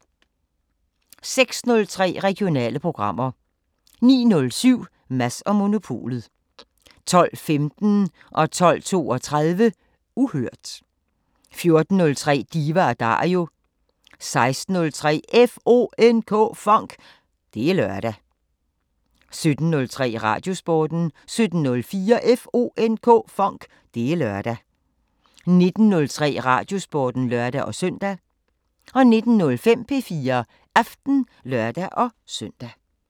06:03: Regionale programmer 09:07: Mads & Monopolet 12:15: Uhørt 12:32: Uhørt 14:03: Diva & Dario 16:03: FONK! Det er lørdag 17:03: Radiosporten 17:04: FONK! Det er lørdag 19:03: Radiosporten (lør-søn) 19:05: P4 Aften (lør-søn)